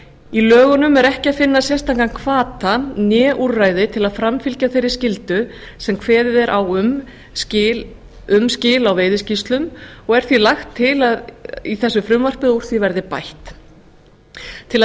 í lögunum er ekki finna sérstakan hvata né úrræði til að framfylgja þeirri skyldu sem kveðið er á um skil á veiðiskýrslum og er því lagt til að í frumvarpi þessu sé bætt úr því til að